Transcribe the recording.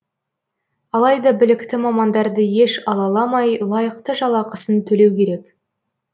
алайда білікті мамандарды еш алаламай лайықты жалақысын төлеу керек